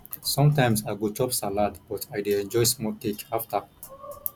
sometimes i go chop salad but i dey enjoy small cake after